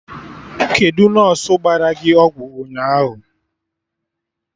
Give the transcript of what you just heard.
Kedụ nọsụ gbara gị ọgwụ ụnyaahụ?